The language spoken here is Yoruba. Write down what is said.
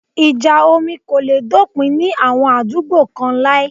Ìjà omi kò le dópin ní àwọn àdúgbò kán láí